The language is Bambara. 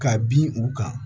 Ka bin u kan